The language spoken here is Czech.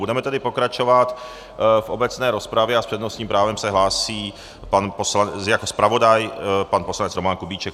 Budeme tedy pokračovat v obecné rozpravě a s přednostním právem se hlásí jako zpravodaj pan poslanec Roman Kubíček.